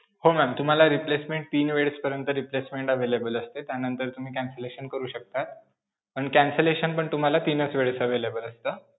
हो ma'am. तुम्हाला replacement तीन वेळेसपर्यंत replacement available असते त्यानंतर तुम्ही cancellation करू शकता, पण cancellation पण तुम्हाला तीनच वेळेस available असतं.